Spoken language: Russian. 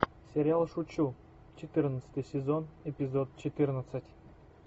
сериал шучу четырнадцатый сезон эпизод четырнадцать